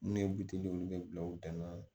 Ne ye buteliw kɛ bila u tɛnana